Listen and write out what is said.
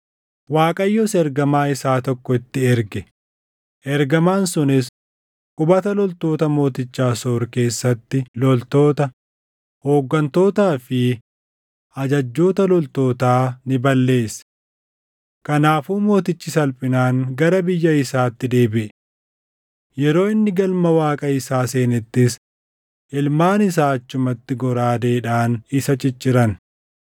Waaqayyos ergamaa isaa tokko itti erge; ergamaan sunis qubata loltoota mooticha Asoor keessatti loltoota, hooggantootaa fi ajajjoota loltootaa ni balleesse. Kanaafuu mootichi salphinaan gara biyya isaatti deebiʼe. Yeroo inni galma Waaqa isaa seenettis ilmaan isaa achumatti goraadeedhaan isa cicciran.